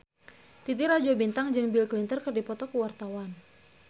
Titi Rajo Bintang jeung Bill Clinton keur dipoto ku wartawan